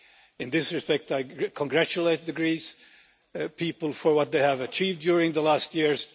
In this respect I congratulate the Greek people for what they have achieved during recent years.